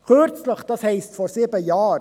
Kürzlich heisst vor sieben Jahren.